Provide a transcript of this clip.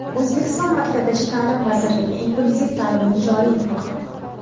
O‘zbekiston Maktabgacha ta’lim vazirligi inklyuziv ta’limni joriy etmoqda .